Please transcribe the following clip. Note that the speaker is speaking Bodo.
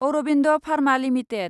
Aurobindo pharma limited